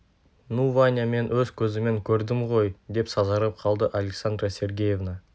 ну ваня мен өз көзіммен көрдім ғой деп сазарып қалды александра сергеевна